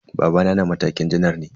Babana na matakin janar ne.